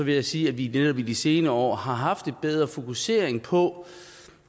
jeg sige at vi ved at vi i de senere år har haft en bedre fokusering på